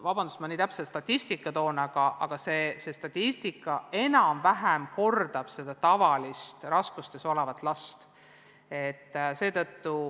Vabandust, et ma nii täpse statistika toon, aga see kordab enam-vähem seda tavalist õpiraskustes olevate laste statistikat.